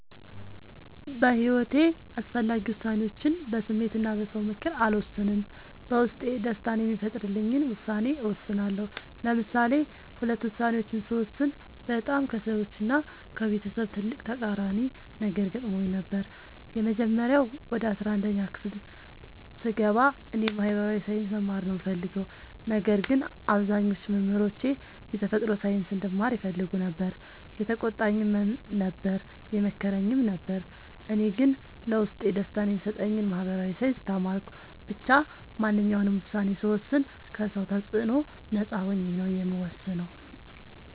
በሒወቴ አስፈላጊ ወሳኔዎችን በስሜት እና በ ሰው ምክር አልወሰንም። በውስጤ ደስታን የሚፈጥርልኝን ውሳኔ እወስናለሁ። ለምሳሌ ሁለት ውሳኔዎችን ስወስን በጣም ከሰዎች እና ከቤተሰብ ትልቅ ተቃራኒ ነገር ገጥሞኝ ነበር። የመጀመሪያው ወደ አስራአንድ ክፍል ስገባ እኔ የ ማህበራዊ ሳይንስ መማር ነው የምፈልገው። ነገር ግን አብዛኞቹ መምህሮቼ የተፈጥሮ ሳይንስ እንድማር ይፈልጉ ነበር የተቆጣኝም ነበር የመከረኝም ነበር እኔ ግን ለውስጤ ደስታን የሚሰጠኝን ማህበራዊ ሳይንስ ተማርኩ። ብቻ ማንኛውንም ውሳኔ ስወስን ከ ሰው ተፅዕኖ ነፃ ሆኜ ነው የምወስነው።